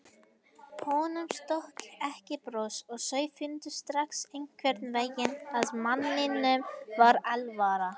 Honum stökk ekki bros og þau fundu strax einhvern veginn að manninum var alvara.